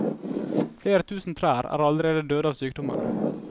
Flere tusen trær er allerede døde av sykdommen.